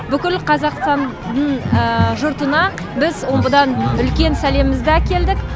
бүкіл қазақстанның жұртына біз омбыдан үлкен сәлемімізді әкелдік